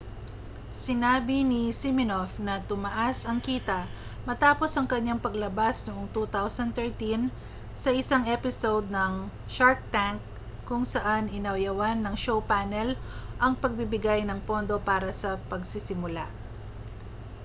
sinabi ni siminoff na tumaas ang kita matapos ang kaniyang paglabas noong 2013 sa isang episode ng shark tank kung saan inayawan ng show panel ang pagbibigay ng pondo para sa pagsisimula